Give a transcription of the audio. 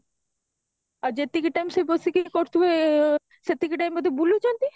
ଆଉ ଯେତିକି time ସେ ବସିକି ଇଏ କରୁଥିବେ ସେତିକି time ବୋଧେ ବୁଲୁଚନ୍ତି